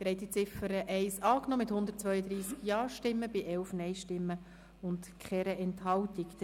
Sie haben die Ziffer 1 angenommen mit 132 Ja- gegen 11 Nein-Stimmen bei 0 Enthaltungen.